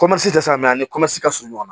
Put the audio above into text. dɛsɛ mɛ a ni ka surun ɲɔgɔn na